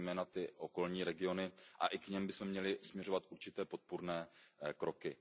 Jsou to zejména ty okolní regiony a i k nim bychom měli směřovat určité podpůrné kroky.